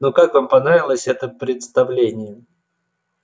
ну как вам понравилось это представление